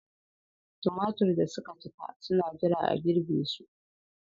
Tumatir da suka cika suna jira a girbe su.